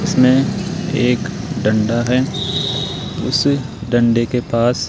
इसमें एक डंडा है उस डंडे के पास--